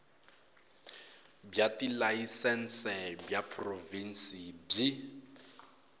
bya tilayisense bya provhinsi byi